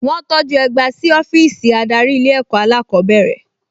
Wọ́n tọjú ẹgba sí ọ́fíìsì adarí ilé ẹ̀kọ́ alákọ̀ọ́bẹ̀rẹ̀